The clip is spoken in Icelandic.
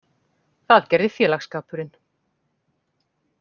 Það gerði félagsskapurinn.